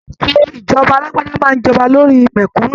Ètò ìjọba alágbádá máa n jọba lórí mẹkúnnù.